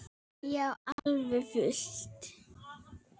Já, alveg fullt.